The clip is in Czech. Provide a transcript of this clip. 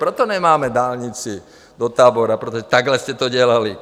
Proto nemáme dálnici do Tábora, protože takhle jste to dělali.